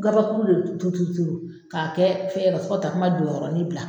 Gabakuru de bɛ turu turu k'a kɛ fɛrɔ fɔ ka tasuma don yɔrɔnin bila.